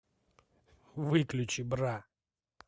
выключи бра